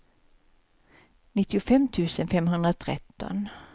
nittiofem tusen femhundratretton